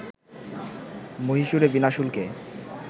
মহীশুরে বিনা শুল্কে